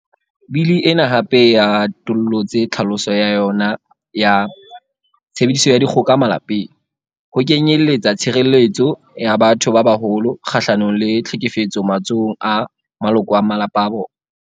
Bili ena hape e atollotse tlhaloso ya yona ya 'tshebediso ya dikgoka malapeng' ho kenyelletsa tshire-lletso ya batho ba baholo kga-hlanong le tlhekefetso matsohong a maloko a malapa a bona.